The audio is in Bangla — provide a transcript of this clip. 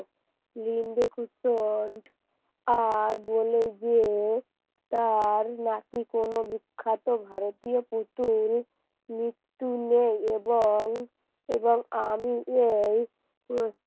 লিঙ্গ কুসন্ড আর বলে যে তার নাকি কোন বিখ্যাত ভারতীয় পুতুল মৃত্যু নেই এবং এবং আমি এই